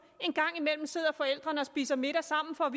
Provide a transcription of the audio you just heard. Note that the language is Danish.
en gang imellem sidder forældrene og spiser middag sammen for at